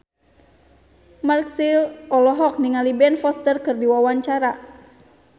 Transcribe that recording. Marchell olohok ningali Ben Foster keur diwawancara